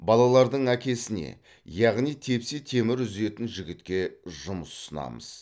балалардың әкесіне яғни тепсе темір үзетін жігітке жұмыс ұсынамыз